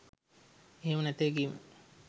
එහෙම නැතැයි කීම